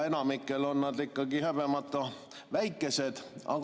Enamikul on nad ikkagi häbemata väikesed.